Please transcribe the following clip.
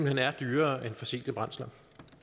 hen er dyrere end fossile brændsler